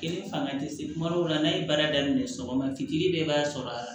E ni fanga ti se kuma dɔw la n'a ye baara daminɛ sɔgɔma fitiri bɛɛ b'a sɔrɔ a